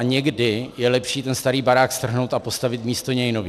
A někdy je lepší ten starý barák strhnout a postavit místo něj nový.